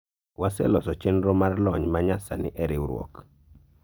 waseloso chenro mar lony ma nya sani e riwruok